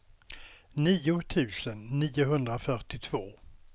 nio tusen niohundrafyrtiotvå